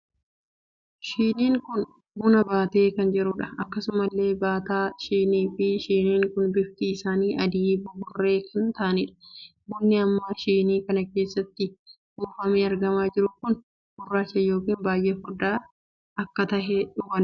Shiniin kun buna baatee kan jiruudha. akkasumallee baataa shinii fi shiniin kun bifti isaanii adii buburree kan taahaniidha. bunni amma shinii kana keessatti buufamee argamaa jiru kun gurraacha ykn baay'ee furdaa akka tahe hubanna.